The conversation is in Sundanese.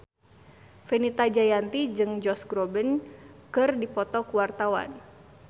Fenita Jayanti jeung Josh Groban keur dipoto ku wartawan